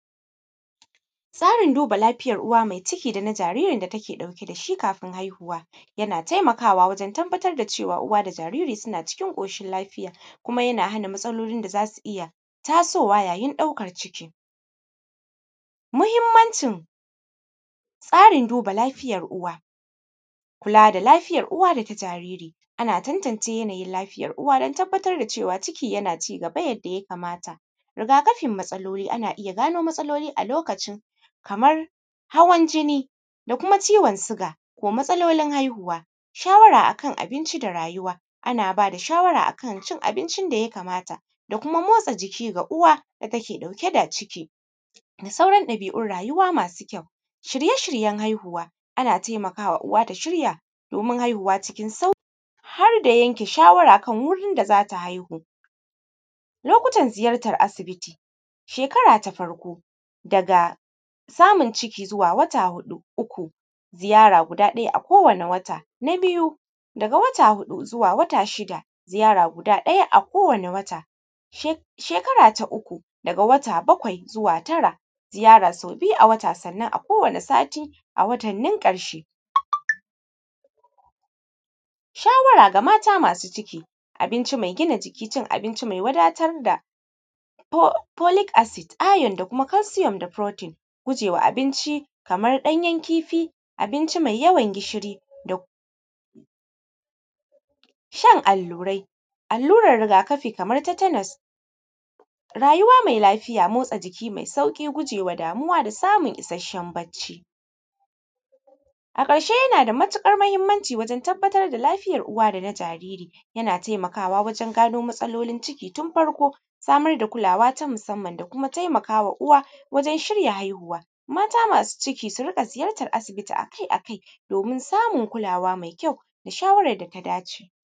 Tsarin duba lafiyan uwa mai ciki dana jiririn da take ɗauke da shi kafin haihuwa yana taimakawa wajen tabbatar da cewa uwa da jariri suna ciki ƙoshin lafiya kuma yana hana matsalolin da zasu iya tasowa yayin ɗaukar ciki, muhimmancin tsarin duba lafiyan uwa, kula da lafiyar uwa da ta jariri ana tantance yanayin lafiyar uwa dan tabbatar da cewa ciki yana cigaba kamar yadda ya kamata, riga kafin matsaloli ana iya gano matsaloli a lokacin kamar hawan jinni, da kuma ciwon siga da matsalolin haihuwa, shawara akan abinci da rayuwa, ana ba da shawara akan cin abincin da ya kamata da kuma motsa jiki ga uwa da take ɗauke da ciki da sauran ɗabi`un rayuwa masu kyau, shirye shiryen haihuwa ana taimakawa uwa ta shirya domin haihuwa cikin sauƙ har da yanke shawara akan wurin da zata haihu, lokutan ziyartan asibiti, shekara ta farko daga samun ciki zuwa wata huɗu uku ziyara guda ɗaya a kowani wata, na biyu, daga wata na huɗu zuwa wata shida ziyara guda ɗaya a kowani wata she shekara ta uku, daga wata bakwai zuwa tara ziyara sau biyu a wata sannan a kowani sati a watannin ƙarshe, shawara ga mata masu ciki, abinci mai gina jiki, cin abinci mai wadatar da polic acid, iron, da kuma calcium da “protein”, gujewa abinci kaman ɗanyen kifi, abinci mai yawa jishi, da shan allurai, alluran riga kafi kaman “tetanus”, rayuwa mai lafiya matsa jiki mai sauƙi gujewa damuwa da samun isheshen bacci, a ƙarshe yana da matuƙar mahimmanci wajen tabbatar da lafiyar uwa da na jaririyana taimakawa wajen gano matsaloli ciki tun farko samar da kulawa ta masamman da kuma taimakawa uwa wajen shirya haihuwa, mata masu cikik su riƙa ziyartar asibiti a kai a kai domin samun kulawa mai kyauda shawarar.